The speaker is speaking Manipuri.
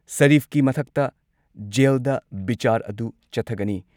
ꯁꯥꯔꯤꯐꯀꯤ ꯃꯊꯛꯇ ꯖꯦꯜꯗ ꯕꯤꯆꯥꯔ ꯑꯗꯨ ꯆꯠꯊꯒꯅꯤ ꯫